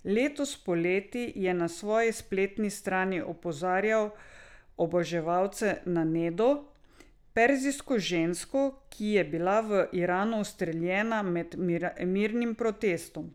Letos poleti je na svoji spletni strani opozarjal oboževalce na Nedo, perzijsko žensko, ki je bila v Iranu ustreljena med mirnim protestom.